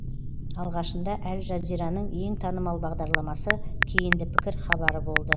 алғашында әл жазираның ең танымал бағдарламасы кейінді пікір хабары болды